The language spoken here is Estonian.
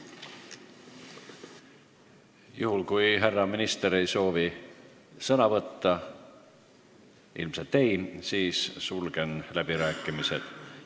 Juhul kui härra minister ei soovi sõna võtta – ilmselt ei soovi –, siis sulgen läbirääkimised.